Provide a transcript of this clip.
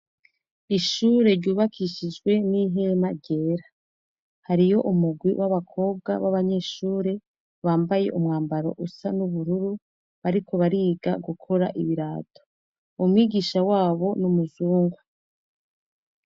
Ishure ryubakishijwe n'ihema ryera hariho umurwi wab'abakobwa baba nyeshure bambaye umwambaro usa n'ubururu bariko bariga gukora ibirato, umwigisha wabo n'umuzungu.